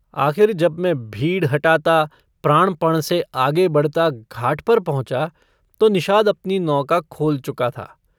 आख़िर जब मैं भीड़ हटाता प्राणपण से आगे बढ़ता घाट पर पहुँचा तो निषाद अपनी नौका खोल चुका था।